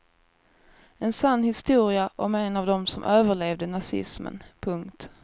En sann historia om en av dem som överlevde nazismen. punkt